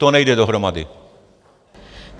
To nejde dohromady.